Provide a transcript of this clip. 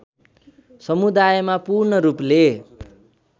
समुदायमा पूर्ण रूपले